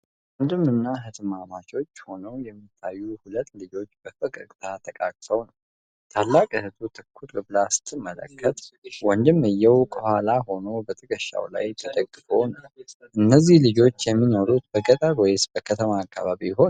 ወንድምና እህትማማቾች ሆነው የሚታዩ ሁለት ልጆች በፈገግታ ተቃቅፈው ነው። ታላቋ እህት ትኩር ብላ ስትመለከት፣ ወንድምየው ከኋላዋ ሆኖ በትከሻዋ ላይ ተደግፎ ነው። እነዚህ ልጆች የሚኖሩት በገጠር ወይስ በከተማ አካባቢ ይሆን?